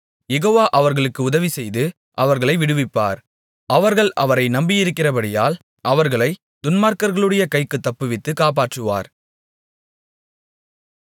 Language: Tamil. யெகோவா அவர்களுக்கு உதவிசெய்து அவர்களை விடுவிப்பார் அவர்கள் அவரை நம்பியிருக்கிறபடியால் அவர்களைத் துன்மார்க்கர்களுடைய கைக்குத் தப்புவித்து காப்பாற்றுவார்